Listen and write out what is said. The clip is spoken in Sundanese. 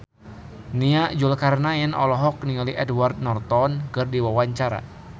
Nia Zulkarnaen olohok ningali Edward Norton keur diwawancara